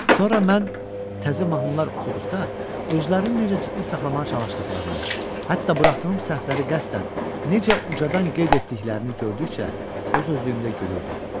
Sonra mən təzə mahnılar oxuduqda özlərini necə ciddi saxlamağa çalışdıqlarını, hətta buraxdığım səhvləri qəsdən necə ucadan qeyd etdiklərini gördükcə öz özlüyümdə gülürdüm.